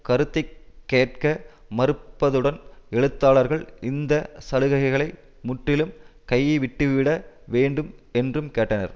கருத்தை கேட்க மறுப்பதுடன் எழுத்தாளர்கள் இந்த சலுகைகளை முற்றிலும் கைவிட்டுவிட வேண்டும் என்றும் கேட்டனர்